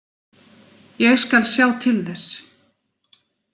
Ég skal sjá til þess.